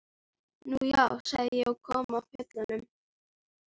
Nú já, sagði ég og kom af fjöllum.